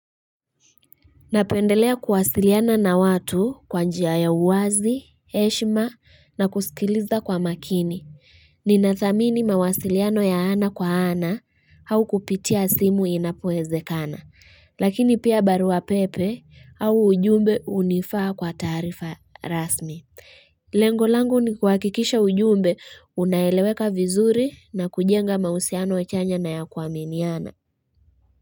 Napendelea kuwasiliana na watu kwa njia ya uwazi, heshma na kusikiliza kwa makini. Ninathamini mawasiliano ya ana kwa ana au kupitia simu inapowezekana. Lakini pia barua pepe au ujumbe hunifaa kwa taarifa rasmi. Lengo langu ni kuhakikisha ujumbe unaeleweka vizuri na kujenga mausiano ya chanya na ya kuaminiana.